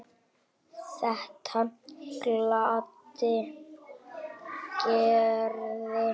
Þetta gladdi Gerði.